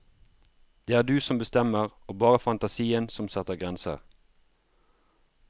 Det er du som bestemmer, og bare fantasien som setter grenser.